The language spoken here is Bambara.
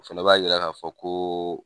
O fana b'a yira ka fɔ ko